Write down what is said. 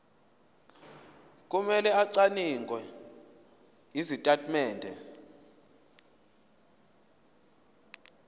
kumele acwaninge izitatimende